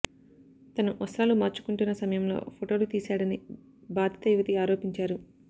తను వస్త్రాలు మార్చుకుంటున్న సమయంలో ఫొటోలు తీశాడని బాధిత యువతి ఆరోపించారు